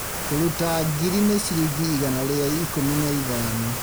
Kũruta ngiri ikũmi nĩ ciringi igana rĩa ikũmi na ithano